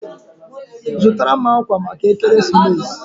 Zụtara m akwa maka ekeresimesi!